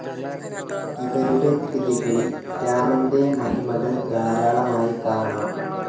ഇവരുടെ കൃതികളിൽ രാമൻ്റെ മഹിമകൾ ധാരാളമായി കാണാം.